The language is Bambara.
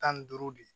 Tan ni duuru de